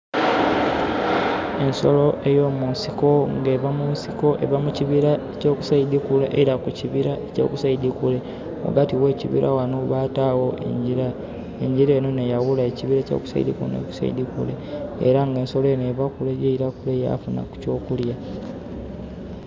Ensolo ey'omusinko nga eva mu nsiko, eva mu kibira ekya ku saidi kule yeila ku kibira ekya ku saidi kule. Ghagati gh'ekibira ghano bataawo engira, engira enho n'eyawula ekibira ekya ku saidi kule n'ekya ku saidi kule. Era nga ensolo enho eva kule yaila kule yafuna eky'okulya.